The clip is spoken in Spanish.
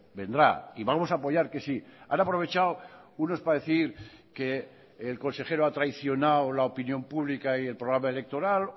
vendrá y vamos a apoyar que sí han aprovechado unos para decir que el consejero ha traicionado la opinión pública y el programa electoral